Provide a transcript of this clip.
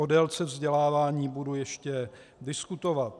O délce vzdělávání budu ještě diskutovat.